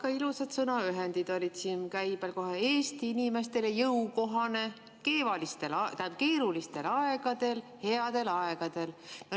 Väga ilusad sõnaühendid olid käibel siin: Eesti inimestele jõukohane, keerulistel aegadel, headel aegadel.